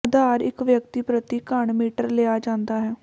ਆਧਾਰ ਇੱਕ ਵਿਅਕਤੀ ਪ੍ਰਤੀ ਘਣ ਮੀਟਰ ਲਿਆ ਜਾਂਦਾ ਹੈ